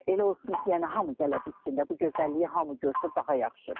Elə olsun ki, yəni hamı gələ bilsin, bu gözəlliyi hamı görsün, daha yaxşıdır.